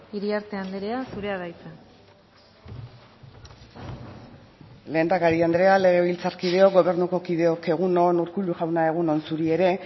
iriarte andrea zurea da hitza lehendakari andrea legebiltzarkideok gobernuko kideok egun on urkullu jauna egun on zuri ere